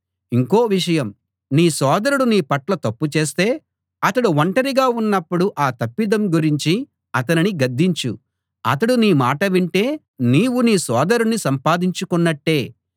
ఇంకో విషయం నీ సోదరుడు నీ పట్ల తప్పు చేస్తే అతడు ఒంటరిగా ఉన్నప్పుడు ఆ తప్పిదం గురించి అతనిని గద్దించు అతడు నీ మాట వింటే నీవు నీ సోదరుణ్ణి సంపాదించుకొన్నట్టే